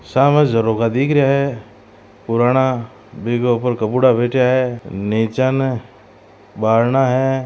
सामे झरोखा दिख रिया है पुराना बीके ऊपर कबुङा बैठ्या है निचाने बारना है।